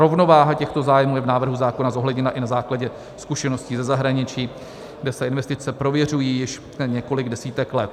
Rovnováha těchto zájmů je v návrhu zákona zohledněna i na základě zkušeností ze zahraničí, kde se investice prověřují již několik desítek let.